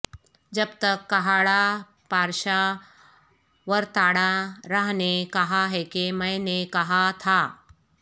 جب تک کھاڑھا پارشاہ ورتاڈاہ راہ نے کہا ہے کہ میں نے کہا تھا